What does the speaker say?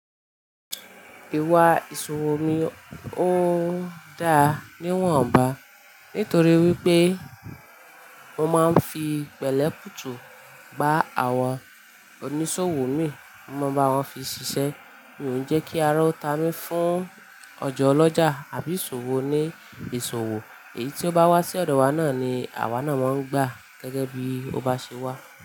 Ìwà ìṣòwò mi ò dá níwọ̀n ba nítorí wípé mo máa ń fi pẹ̀lẹ́ putù gba àwọn oníṣòwò mi, mo máa ń bá wọn fi ṣiṣẹ́, mo ń jẹ́ kí ara ó tá mi fún ọjà ọlọ́jà àbí ìṣòwò oní ìṣòwò, èyí tí ó bá wá sí ọ̀dọ̀ wa náà ni àwa náà máa ń gbà gẹ́gẹ́ bí ó bá ṣe wá.